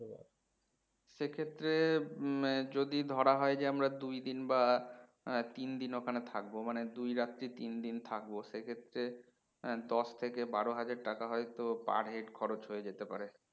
সেক্ষেত্রে হম যদি ধরা হয় যে আমরা দুই দিন বা তিন দিন ওখানে থাকবো মানে দুই রাত্রি তিন দিন থাকবো সেক্ষেত্রে দশ থেকে বারো হাজার টাকা হয়তো per head খরচ হয়ে যেতে পারে